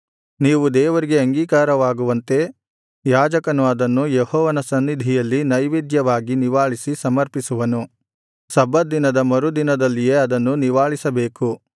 ನೀವು ದೇವರಿಗೆ ಅಂಗೀಕಾರವಾಗುವಂತೆ ಯಾಜಕನು ಅದನ್ನು ಯೆಹೋವನ ಸನ್ನಿಧಿಯಲ್ಲಿ ನೈವೇದ್ಯವಾಗಿ ನಿವಾಳಿಸಿ ಸಮರ್ಪಿಸುವನು ಸಬ್ಬತ್ ದಿನದ ಮರು ದಿನದಲ್ಲಿಯೇ ಅದನ್ನು ನಿವಾಳಿಸಬೇಕು